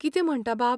कितें म्हणटा बाब?